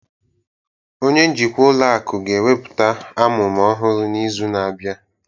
Onye njikwa ụlọ akụ ga-ekwupụta amụma ọhụrụ n'izu na-abịa